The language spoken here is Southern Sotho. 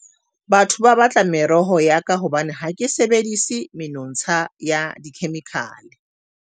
Batho ba batla meroho ya ka hobane ha ke sebedisi menontsha ya dikhemikhale.